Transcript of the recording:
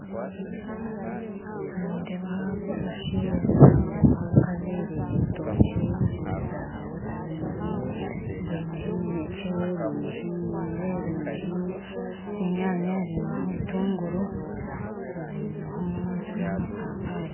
Nindeebaho abashaija nindeebaho abakazi baine ebitookye baine zaawotameloni baineho eminekye baineho emiyembe baineho enyanya baineho obutunguru baineho n'amapapari